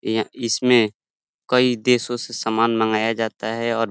ये इसमें कई देशो से सामान मंगाया जाता है और --